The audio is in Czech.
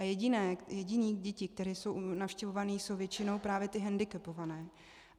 A jediné dětí, které jsou navštěvované, jsou většinou právě ty hendikepované.